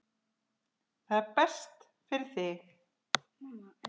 Það er best fyrir þig.